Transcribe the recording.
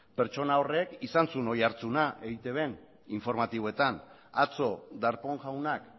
pertsona horrek izan zuen oihartzuna eitben informatiboetan atzo darpón jaunak